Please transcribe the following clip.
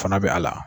Fana bɛ a la